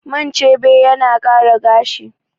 Man chebe yana ƙara gashi